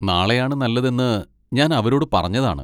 നാളെയാണ് നല്ലതെന്ന് ഞാൻ അവരോട് പറഞ്ഞതാണ്.